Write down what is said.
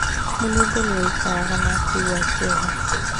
Mũnungo nĩ waikaraga na akĩigua kĩeha.